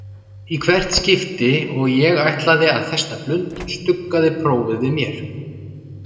Í hvert skipti og ég ætlaði að festa blund stuggaði prófið við mér.